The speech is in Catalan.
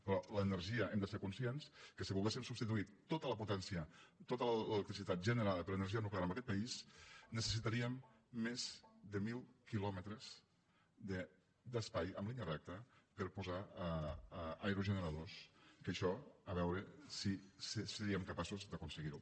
però l’energia hem de ser conscients que si volguéssim substituir tota la potència i tota l’electricitat generada per energia nuclear en aquest país necessitaríem més de mil quilòmetres d’espai en línia recta per posar aerogeneradors que això a veure si seríem capaços d’aconseguir ho